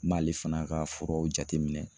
N m'ale fana ka furaw jateminɛ